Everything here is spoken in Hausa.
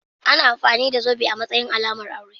Ana amfani da zobe a matsayin alamar aure.